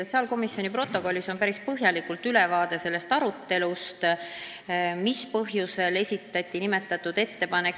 Sotsiaalkomisjoni protokollis on päris põhjalik ülevaade arutelust, mis põhjusel see ettepanek esitati.